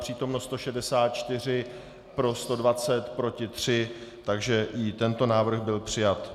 Přítomno 164, pro 120, proti 3, takže i tento návrh byl přijat.